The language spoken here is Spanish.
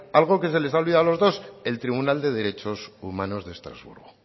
algo que se les ha olvidado a los dos el tribunal de derechos humanos de estrasburgo